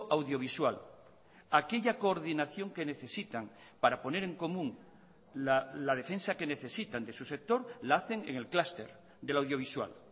audiovisual aquella coordinación que necesitan para poner en común la defensa que necesitan de su sector la hacen en el clúster de la audiovisual